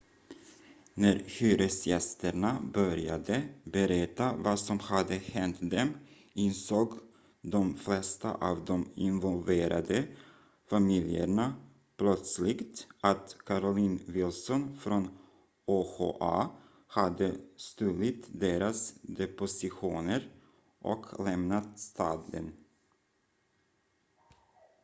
när hyresgästerna började berätta vad som hade hänt dem insåg de flesta av de involverade familjerna plötsligt att carolyn wilson från oha hade stulit deras depositioner och lämnat staden